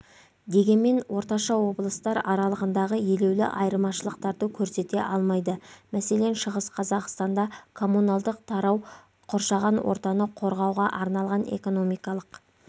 дегенмен орташа облыстар аралығындағы елеулі айырмашылықтарды көрсете алмайды мәселен шығыс қазақстанда коммуналдық тарау қоршаған ортаны қорғауға арналған экономикалық